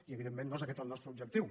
i evidentment no és aquest el nostre objectiu